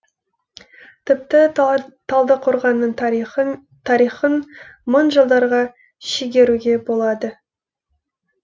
тіпті талдықорғанның тарихын мың жылдарға шегеруге болады